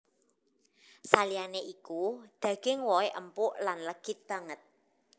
Saliyané iku daging wohé empuk lan legit banget